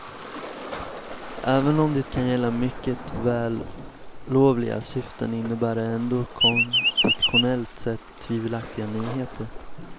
Även om det kan gälla mycket vällovliga syften innebär det ändå konstitutionellt sett tvivelaktiga nyheter.